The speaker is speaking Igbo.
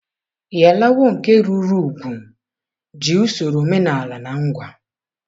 Iyalawo nke rụrụ úgwù ji usoro omenala na ngwa.